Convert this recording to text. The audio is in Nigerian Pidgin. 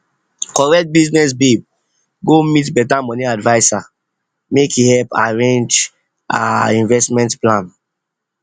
correct business babe go meet better money adviser make e help rearrange help rearrange her investment plan